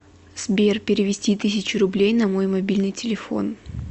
сбер перевести тысячу рублей на мой мобильный телефон